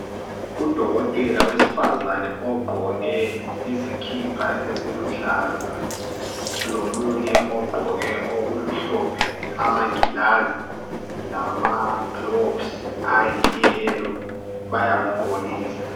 Udokotela wesifazane ogqoke iskipa esiluhlaza lomunye ogqoke okumhlophe amangilazi lamagilovisi ayiyelo bayamugqokisa.